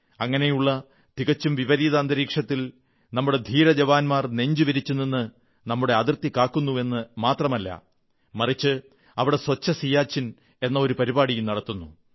അങ്ങനെയുള്ള തികച്ചും വിപരീത അന്തരീക്ഷത്തിൽ നമ്മുടെ ധീരജവാന്മാർ നെഞ്ചുവിരിച്ചു നിന്ന് നമ്മുടെ അതിർത്തി കാക്കുന്നുവെന്നു മാത്രമല്ല മറിച്ച് അവിടെ സ്വച്ഛ സിയാചിൻ എന്ന ഒരു പരിപാടിയും നടത്തുന്നു